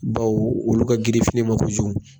Baw olu ka girin filen ma kosɛbɛ.